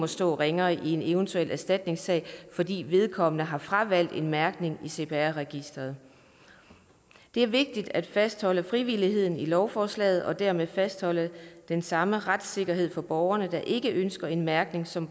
stå ringere i en eventuel erstatningssag fordi vedkommende har fravalgt en mærkning i cpr registeret det er vigtigt at fastholde frivilligheden i lovforslaget og dermed fastholde den samme retssikkerhed for borgeren der ikke ønsker en mærkning som